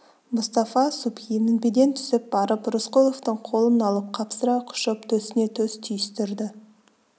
мұстафа субхи мінбеден түсіп барып рысқұловтың қолын алып қапсыра құшып төсіне төс түйістірді